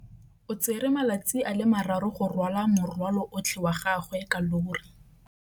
O tsere malatsi a le marraro go rwala morwalo otlhe wa gagwe ka llori.